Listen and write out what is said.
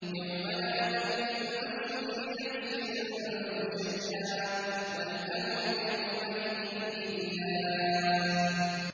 يَوْمَ لَا تَمْلِكُ نَفْسٌ لِّنَفْسٍ شَيْئًا ۖ وَالْأَمْرُ يَوْمَئِذٍ لِّلَّهِ